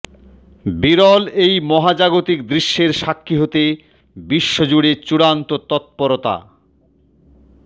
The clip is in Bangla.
বিরল এই মহাজাগতিক দৃশ্যের সাক্ষী হতে বিশ্বজুড়ে চূড়ান্ত তত্পরতা